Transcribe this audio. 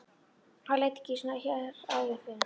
Hann lét ekki svona hér áður fyrr.